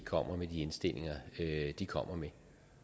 kommer med de indstillinger de kommer med